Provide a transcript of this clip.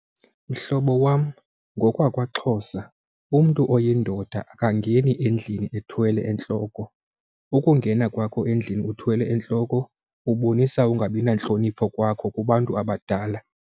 Mhlobo wam ngokwakwaXhosa umntu oyindoda akangeni endlini ethwele entloko. Ukungena kwakhe endlini ethwale entloko ubonisa ungabi nantlonipho kwakhe kubantu abadala.